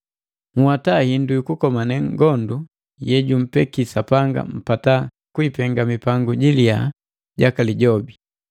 Nhwata hindu yukukomane ngondu yejumpeke Sapanga mpata kuipenga mipangu jiliya jaka Lijobi.